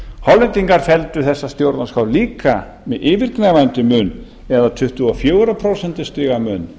hollendingar felldu þessa stjórnarskrá líka með yfirgnæfandi mun eða tuttugu og fjögur prósent mun